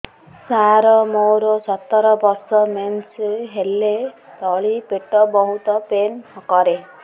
ସାର ମୋର ସତର ବର୍ଷ ମେନ୍ସେସ ହେଲେ ତଳି ପେଟ ବହୁତ ପେନ୍ କରେ